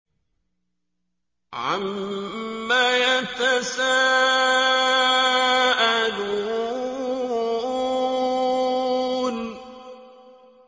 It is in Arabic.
عَمَّ يَتَسَاءَلُونَ